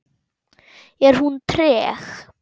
Er hún treg?